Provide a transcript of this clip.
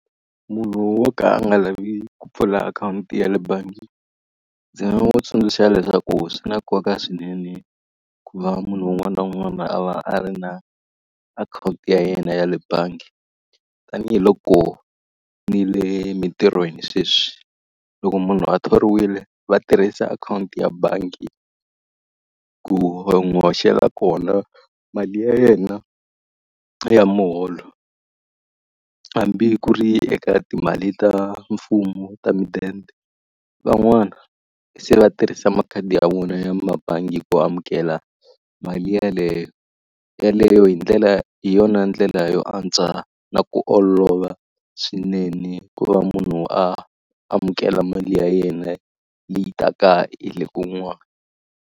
Munhu wo ka a nga lavi ku pfula akhawunti ya le bangi, ndzi nga n'wi tsundzuxa leswaku swi na nkoka swinene ku va munhu un'wana na un'wana a va a ri na akhawunti ya yena ya le bangi. Tanihi loko ni le mintirhweni sweswi, loko munhu a thoriwile va tirhisa akhawunti ya bangi ku va n'wi hoxela kona mali ya yena ya muholo. Hambi ku ri eka timali ta mfumo ta mudende, van'wani se va tirhisa makhadi ya vona ya mabangi ku amukela mali yeleyo. Yeleyo hi ndlela hi yona ndlela yo antswa na ku olova swinene ku va munhu a amukela mali ya yena leyi taka hi le kun'wani.